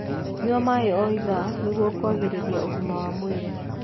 Nyua maĩ o ithaa nĩguo kũagĩrĩrĩa ũgima wa mwĩrĩ